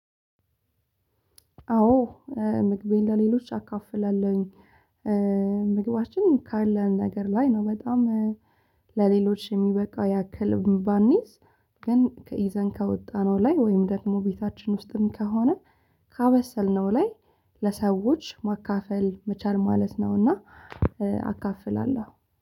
አዎ ምግቤን ለሌሎች አካፍላለሁኝ። ምግባችንን ካለን ነገር ላይ ነው በጣም ለሌሎች የሚበቃ ያክልም ባንይዝ ግን ይዘን ከወጣነው ላይ ወይም ደግሞ ቤታችን ውስጥም ከሆነ ካበሰልነው ላይ ለሰዎች ማካፈል መቻል ማለት ነውና። አካፍላለሁ